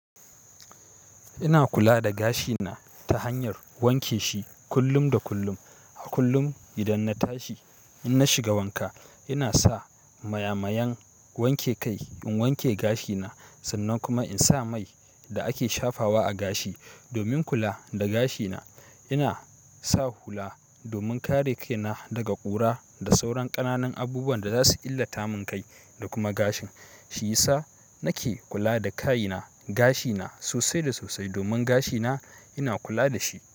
Ina kula da gashina ta hanyar wanke shi kullum da kullum. A kullum idan na tashi, in na shiga wanka, ina sa mayamayan wanke kai in wanke gashina. Sannan kuma in sa mai da ake shafawa a gashi domin kula da gashina. Ina sa hula domin kare kaina daga ƙura da sauran ƙananan abubuwan da za su illata mun kai da kuma gashin. Shi sa nake kula da kayina, gashina sosai da sosai domin gashina ina kula da shi.